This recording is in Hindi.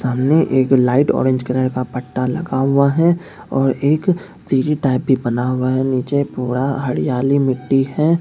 सामने एक लाइट ऑरेंज कलर का पट्टा लगा हुआ है और एक सीढ़ी टाइप भी बना हुआ है नीचे पूरा हरियाली मिट्टी है।